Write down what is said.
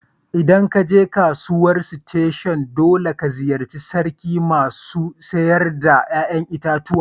ldan ka je kasuwan station dolle ka ziyace sarkin masu sayar da yayan itatuwa.